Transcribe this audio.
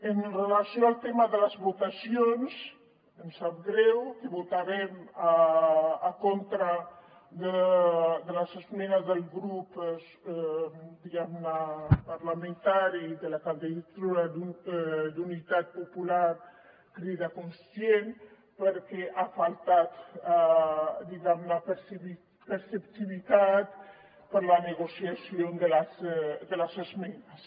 amb relació al tema de les votacions em sap greu que votarem contra de les esmenes del subgrup parlamentari de la candidatura d’unitat popular crida constituent perquè ha faltat diguem ne perceptivitat per la negociació de les esmenes